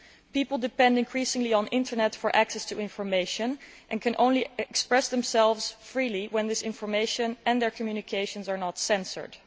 People depend increasingly on the Internet for access to information and can only express themselves freely when this information, and their communications, are not censored.